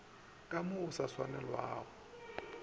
ka mo go sa swanelago